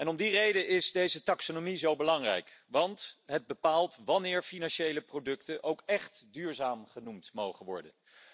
Om die reden is deze taxonomie zo belangrijk, want het bepaalt wanneer financiële producten ook echt duurzaam genoemd mogen worden.